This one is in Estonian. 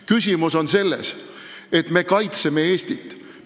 Küsimus on selles, et me kaitseme Eestit.